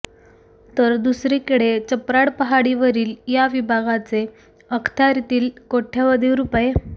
तर दुसरीकडे चप्राड पहाडी वरिल या विभागाचे अख्त्यारीतील कोट्यवधी रु